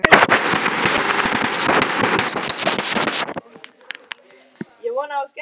Við verðum öll að fara saman í hóp á bolludaginn.